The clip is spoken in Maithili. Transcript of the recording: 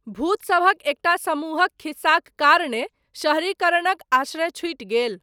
भूतसभक एकटा समूहक खिस्साक कारणेँ शहरीकरणक आश्रय छूटि गेल।